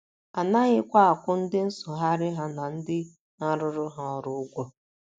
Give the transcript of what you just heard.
A naghịkwa akwụ ndị nsụgharị ha na ndị na - arụrụ ha ọrụ ụgwọ.